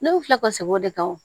Ne filɛ ka segin o de kan wo